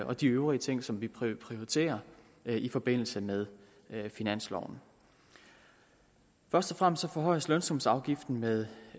og de øvrige ting som vi prioriterer i forbindelse med finansloven først og fremmest forhøjes lønsumsafgiften med